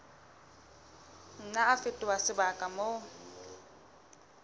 nna a fetoha sebaka moo